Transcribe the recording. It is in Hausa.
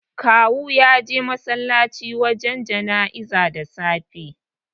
Kawu ya je masallaci wajen jana'izar da safe.